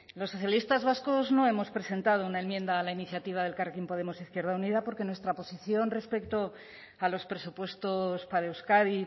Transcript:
los socialistas vascos no hemos presentado una enmienda a la iniciativa del elkarrekin podemos e izquierda unida porque nuestra posición respecto a los presupuestos para euskadi